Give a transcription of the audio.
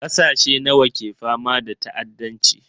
Ƙasashe nawa ne ke fama da ta'addanci?